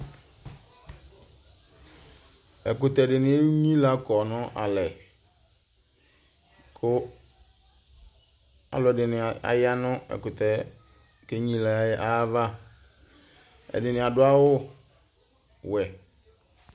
Ɛkʋtɛ dɩnɩ enyilǝ kɔ nʋ alɛ, kʋ alʋ ɛdɩnɩ aya nʋ ɛkʋtɛ yɛ kʋ enyilǝ yɛ ayava, ɛdɩnɩ adʋ awʋ wɛ